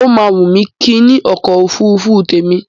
Ó máa wùn mí kí n ní ọkọ̀ òfurufú tèmi.